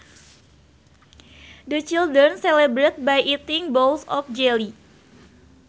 The children celebrated by eating bowls of jelly